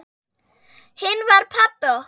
Hinn var pabbi okkar.